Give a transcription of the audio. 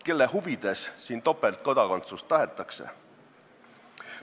Kelle huvides siin topeltkodakondsust tahetakse?